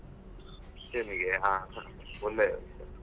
ಸೆಮಿಗೆಯಾ ಹ ಹಾ .